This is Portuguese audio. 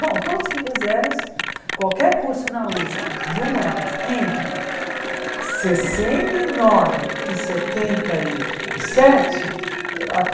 Bom, todos que fizeram qualquer curso na Usp, de humanas, entre sessenta e nove e setenta e e sete uh ah